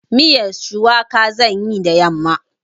Miyan shuwaka zan yi da yamma.